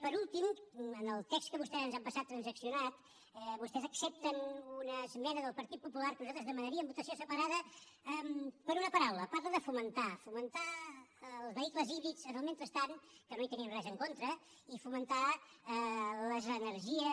per últim en el text que vostès ens han passat transaccionat vostès accepten una esmena del partit popular de què nosaltres demanaríem votació separada per una paraula parla de fomentar fomentar els vehicles híbrids en el mentrestant que no hi tenim res en contra i fomentar les energies